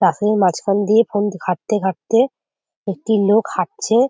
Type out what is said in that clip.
পাশেই মাঝখান দিয়ে ফোন ঘাটতে ঘাটতে একটি লোক হাঁটছে।